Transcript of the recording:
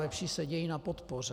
Lepší je sedět na podpoře."